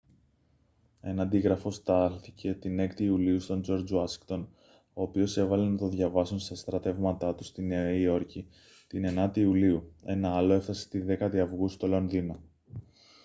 ένα αντίγραφο στάλθηκε την 6η ιουλίου στον τζορτζ ουάσιγκτον ο οποίος έβαλε να το διαβάσουν στα στρατεύματά του στη νέα υόρκη την 9η ιουλίου ένα άλλο έφτασε τη 10η αυγούστου στο λονδίνο